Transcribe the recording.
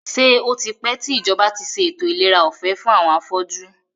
Ṣé o tipẹ́ tí ìjọba tí ṣe ètò ìlera ọ̀fẹ́ fún àwọn afọ́jú?